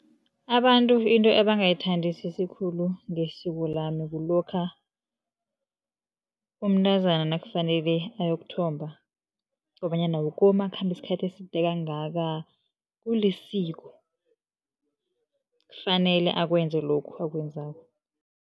Abantu into abangayithandisisi khulu ngesiko lami kulokha umntazana nakufanele ayokuthomba kobanyana wukomu akhamba isikhathi eside kangaka kulisiko kufanele akwenze lokhu akwenzako.